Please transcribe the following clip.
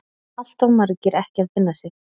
Alltof margir ekki að finna sig.